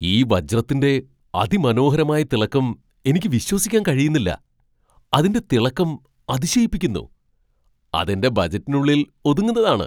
ഈ വജ്രത്തിന്റെ അതിമനോഹരമായ തിളക്കം എനിക്ക് വിശ്വസിക്കാൻ കഴിയുന്നില്ല! അതിന്റെ തിളക്കം അതിശയിപ്പിക്കുന്നു , അത് എന്റെ ബജറ്റിനുള്ളിൽ ഒതുങ്ങുന്നതാണ്.